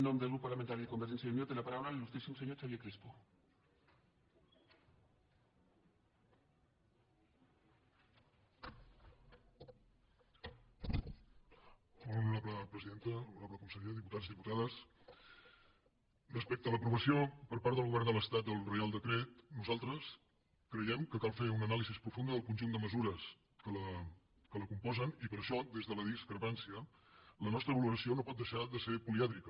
molt honorable presidenta honorable conseller diputats diputades respecte a l’aprovació per part del govern de l’estat del reial decret nosaltres creiem que cal fer una anàlisi profunda del conjunt de mesures que el componen i per això des de la discrepància la nostra valoració no pot deixar de ser polièdrica